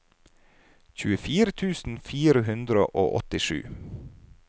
tjuefire tusen fire hundre og åttisju